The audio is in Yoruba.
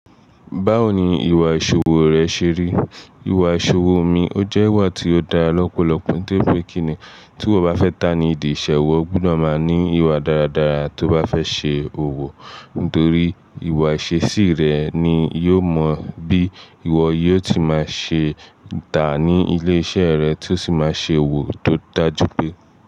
Báwo ni ìwà ìṣòwò rẹ ṣe rí? Ìwà ìṣòwò mi, ó jẹ́ ìwà tí ó dára lọ́pọ̀lọpọ̀ tó pé kíni tí ọba fẹ́ ta ní ìdí ìṣe, o gbúdọ̀ máa ní ìwà dáradára tó bá fẹ́ ṣe òwò, nítorí ìwà ìṣesí rẹ ni yóò mọ bí ìwọ yóò ti máa ṣe tà ní ilé iṣẹ́ rẹ tí ó sì máa ṣe òwò tó dájú pé.